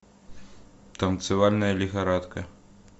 танцевальная лихорадка